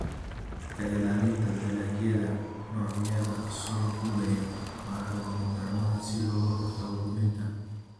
Ka ilaalinta dalagyada noocyada soo duulaya waa lagama maarmaan si looga hortago luminta.